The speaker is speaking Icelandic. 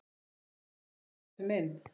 Bruna þú nú, bátur minn.